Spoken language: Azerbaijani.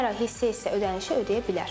Hər ay hissə-hissə ödənişi ödəyə bilər.